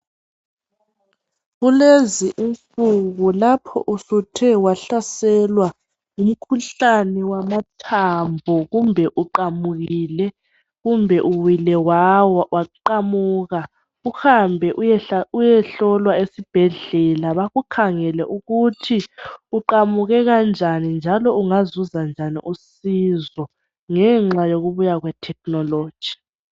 Kulezi insuku lapho usuthe wahlaselwa ngumkhuhlane wamathambo. Kumbe uqamukile, kumbe uwile, wawa waqamuka. Uhambe uyehlolwa esibhedlela bakukhangele ukuthi uqamuke kanjani, njalo ungazuzanjani usizo ngenxa yokubuya kwethekhinoloji.